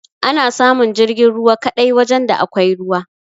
Ana samun jirgin ruwa kaɗai wajan da akwai ruwa